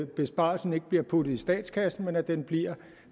besparelsen ikke bliver puttet i statskassen men at den bliver